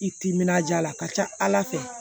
I timinanja la a ka ca ala fɛ